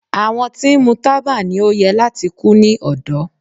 Àwọn tí ń mu taba ni o yẹ lati ku ni ọdọ